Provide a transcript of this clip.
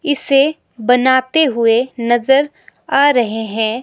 इसे बनाते हुए नजर आ रहे हैं।